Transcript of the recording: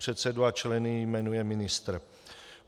Předsedu a členy jmenuje ministr.